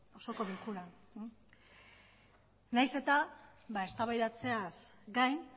osoko bilkuran nahiz eta eztabaidatzeaz gain